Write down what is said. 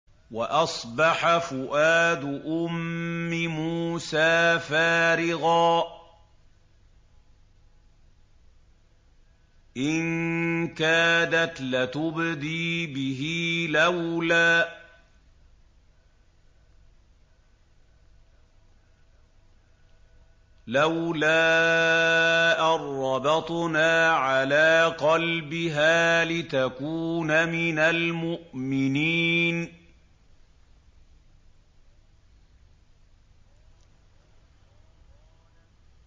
وَأَصْبَحَ فُؤَادُ أُمِّ مُوسَىٰ فَارِغًا ۖ إِن كَادَتْ لَتُبْدِي بِهِ لَوْلَا أَن رَّبَطْنَا عَلَىٰ قَلْبِهَا لِتَكُونَ مِنَ الْمُؤْمِنِينَ